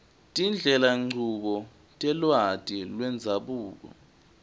tindlelanchubo telwati lwendzabuko